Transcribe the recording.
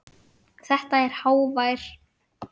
Þetta er hávær